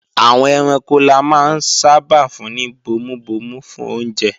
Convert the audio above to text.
Àwọn ẹranko la máa ń sábà fún ní bomubomu fún oúnjẹ